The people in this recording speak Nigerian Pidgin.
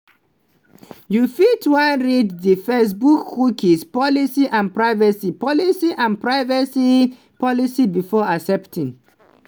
you fit wan read di facebookcookie policyandprivacy policyandprivacy policybefore accepting.